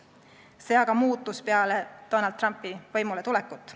See aga muutus peale Donald Trumpi võimule tulekut.